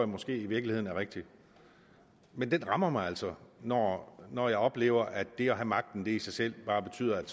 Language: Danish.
måske i virkeligheden er rigtigt men det rammer mig altså når når jeg oplever at det at have magten i sig selv bare betyder at